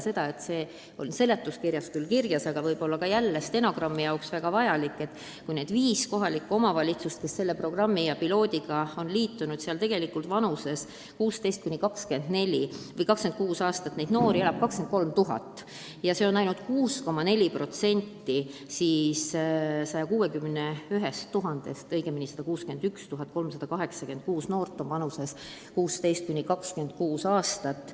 See pole küll seletuskirjas kirjas, aga stenogrammi huvides ütlen, et nendes viies omavalitsuses on vanuses 16–26 aastat noori 23 000 ja see on ainult 6,4% kokku 161 386-st.